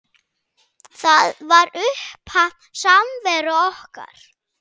Það var upphaf samveru okkar.